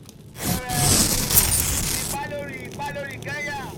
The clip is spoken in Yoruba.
apeere: um ipa lórí ipa lórí kenya